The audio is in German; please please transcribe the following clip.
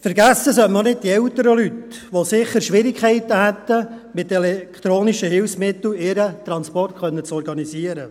Auch nicht vergessen sollte man die älteren Leute, die sicher Schwierigkeiten hätten, mit elektronischen Hilfsmitteln ihren Transport zu organisieren.